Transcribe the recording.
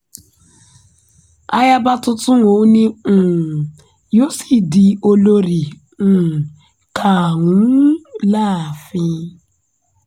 ayaba tuntun ọ̀hún ni um yóò sì di olórí um karùn-ún láàfin